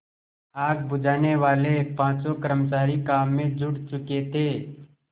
आग बुझानेवाले पाँचों कर्मचारी काम में जुट चुके थे